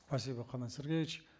спасибо қанат сергеевич